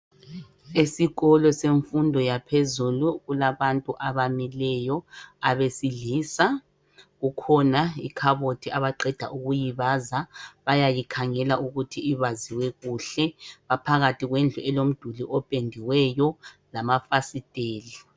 Esikolo semfundo yaphezulu kulabantu abamileyo abesilisa. Kukhona ikhabothi abaqeda ukuyibaza bayayikhangela ukuthi ibaziwe kuhle. Baphakathi komduli opendiweyo lamafasitela.